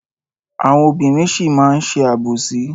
Àwọn obìnrin sì máa má ṣe àbòsí.